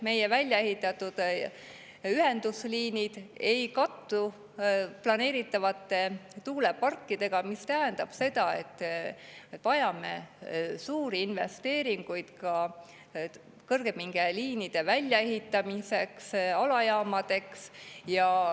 Meie väljaehitatud liinid ei kattu planeeritavate tuuleparkidega, mis tähendab seda, et vajame suuri investeeringuid ka kõrgepingeliinide ja alajaamade väljaehitamiseks.